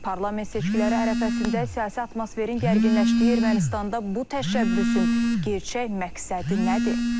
Parlament seçkiləri ərəfəsində siyasi atmosferin gərginləşdiyi Ermənistanda bu təşəbbüsün gerçək məqsədi nədir?